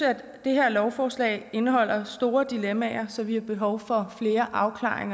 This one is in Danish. det her lovforslag indeholder store dilemmaer så vi har behov for mere afklaring